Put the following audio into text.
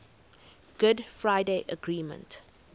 good friday agreement